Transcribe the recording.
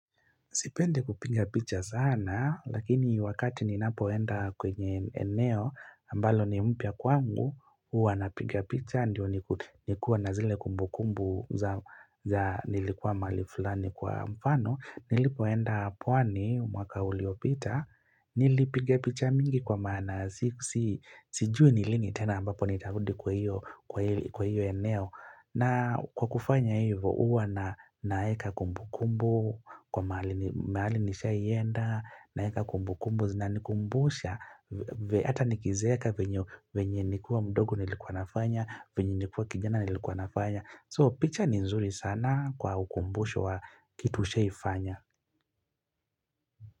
Sipendi kupiga picha sana, lakini wakati ninapoenda kwenye eneo, ambalo ni mpya kwangu, huwa napiga picha, ndio nikuwe na zile kumbukumbu za za nilikuwa mahali fulani kwa mfano, nilipoenda pwani, mwaka uliopita, nilipiga picha mingi kwa maana, sijui ni lini tena ambapo nitarudi kwa hiyo eneo. Na kwa kufanya hivo huwa na naweka kumbukumbu, kwa mahali nishaienda, naeka kumbukumbu zinanikumbusha, hata nikizeeka venye nikiwa mdogo nilikuwa nafanya, venye nikiwa kijana nilikuwa nafanya. So picha ni nzuri sana kwa ukumbusho wa kitu ushawahifanya.